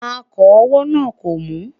akọ owó nà kò mu